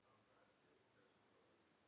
Kemur upp í miklu magni.